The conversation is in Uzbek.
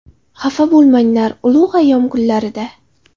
Xafa bo‘lmanglar ulug‘ ayyom kunlarida.